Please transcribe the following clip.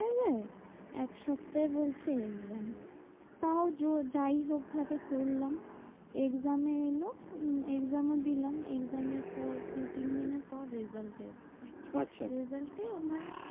এক সপ্তাহে বলছে exam. তও জোর যাই হোক ভাবে করলাম। exam এ এলো exam ও দিলাম। exam এর পর দু তিন দিনের পর result এসেছে। আচ্ছা result এ আমার